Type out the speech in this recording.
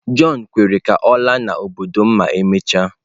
John kwere ka ọ laa n'obodo m ma emechaa.